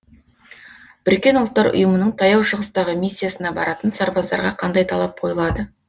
бұұ ның таяу шығыстағы миссиясына баратын сарбаздарға қандай талап қойылады